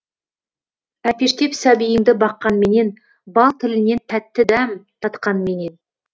әлпештеп сәбиіңді баққанменен бал тілінен тәтті дәм татқанменен